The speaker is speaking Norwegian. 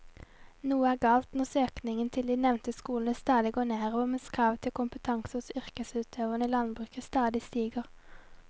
Noe er galt når søkningen til de nevnte skolene stadig går nedover mens kravet til kompetanse hos yrkesutøverne i landbruket stadig stiger.